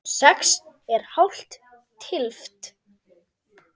Sex er hálf tylft.